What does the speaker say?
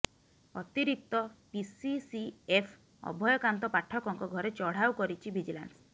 ଅତିରିକ୍ତ ପିସିସିଏଫ୍ ଅଭୟକାନ୍ତ ପାଠକଙ୍କ ଘରେ ଚଢାଉ କରିଛି ଭିଜିଲାନ୍ସ